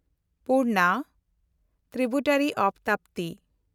Purna (tributary of Tapti)